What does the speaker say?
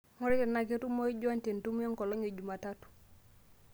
ngurai tenaa ketumoyu john te entumo enkolong' e jumatatu